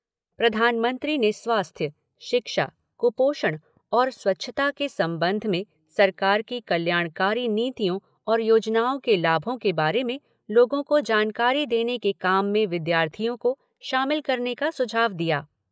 प्रधानमंत्री ने स्वास्थ्य, शिक्षा, कुपोषण और स्वच्छता के संबंध में सरकार की कल्याणकारी नीतियों और योजनाओं के लाभों के बारे में लोगों को जानकारी देने के काम में विद्यार्थियों को शामिल करने का सुझाव दिया।